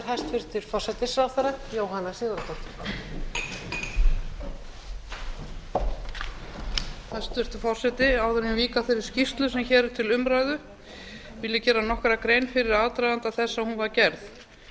hæstvirtur forseti áður en ég vík að þeirri skýrslu sem hér er til umræðu vil ég gera nokkra grein fyrir aðdraganda þess að hún var gerð